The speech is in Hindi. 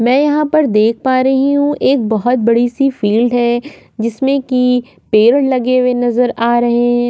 में यहाँ देख पा रही हु एक बहुत बड़ी सी फील्ड है जिसमे की पेड़ लगे हुए नज़र आ रहे है।